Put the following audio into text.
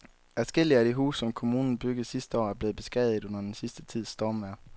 Adskillige af de huse, som kommunen byggede sidste år, er blevet beskadiget under den sidste tids stormvejr.